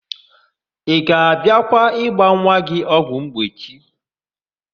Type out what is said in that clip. Ị ga-abịakwa ịgba nwa gị ọgwụmgbochi?